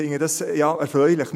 ich finde dies ja erfreulich.